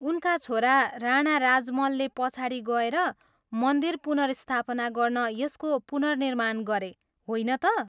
उनका छोरा, राणा राजमलले पछाडि गएर मन्दिर पुनर्स्थापना गर्न यसको पुननिर्माण गरे, होइन त?